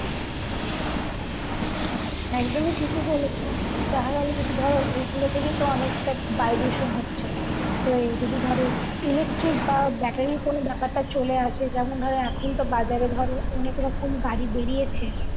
একদমই ঠিকই বলছো দেখা গেলো যদি ধরো এই গুলো থেকে তো অনেকটা বায়ু দূষণ হচ্ছে তো এই যদি ধরো electric বা battery এর কোনো ব্যাপারটা চলে আসে যেমন ধরো এখন তো বাজারে ধরো অনেক রকম গাড়ি বেরিয়েছে তাই